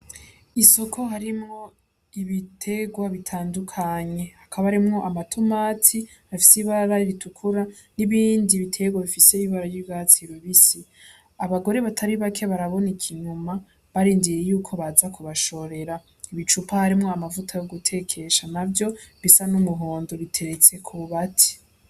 Isoko harimwo ibiterwa bitandukanye, hakaba harimwo amatomati afise ibara ritukura n'ibindi biterwa bifise ibara ry'urwatsi rubisi. Abagore batari bake baraboneka inyuma, barindiriye yuko baza kubashorera. Ibicupa harimwo amavuta yo gutekesha navyo bisa n'umuhondo biteretse kububati.